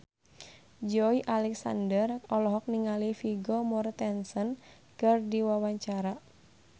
Joey Alexander olohok ningali Vigo Mortensen keur diwawancara